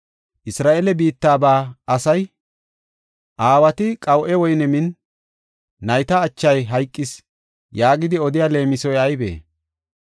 “Isra7eele biittaba asay, ‘Aawati qawu7e woyne min, nayta achay hayqis’ yaagidi odiya leemisoy aybee?